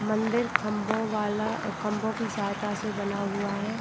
मंदिर खम्भों वाला खम्भों की सहायता से बना हुआ है |